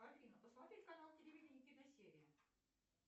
афина посмотреть канал телевидения киносерия